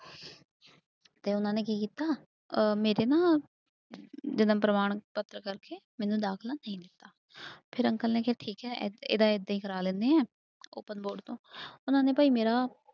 ਤੇ ਉਹਨਾਂ ਨੇ ਕੀ ਕੀਤਾ ਅਹ ਮੇਰੇ ਨਾ ਜਨਮ ਪ੍ਰਮਾਣ ਪੱਤਰ ਕਰਕੇ ਮੈਨੂੰ ਦਾਖਲਾ ਨਹੀਂ ਦਿੱਤਾ ਫਿਰ ਅੰਕਲ ਨੇ ਕਿਹਾ ਠੀਕ ਹੈ ਇ ਇਹਦਾ ਏਦਾਂ ਹੀ ਕਰਵਾ ਲੈਂਦੇ ਹਾਂ open board ਤੋਂ ਉਹਨਾਂ ਨੇ ਭਾਈ ਮੇਰਾ